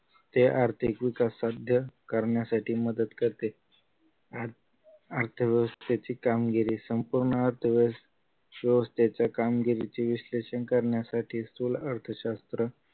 ते आर्थिक विकास साध्य करण्यासाठी मदत करते अर्थव्यवस्थेची कामगिरी संपवणार तेव्हा अर्थव्यवस्थेच्या कामगिरीची विश्लेषण करण्यासाठी स्थूल अर्थशास्त्र